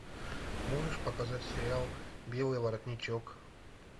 можешь показать сериал белый воротничок